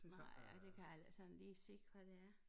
Nej det kan jeg sådan heller ikke lige se havd det er